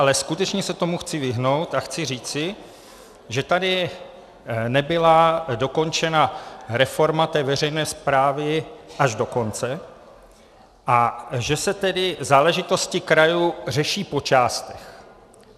Ale skutečně se tomu chci vyhnout a chci říci, že tady nebyla dokončena reforma té veřejné správy až do konce a že se tedy záležitosti krajů řeší po částech.